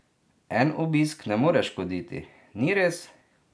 En obisk ne more škoditi, ni res?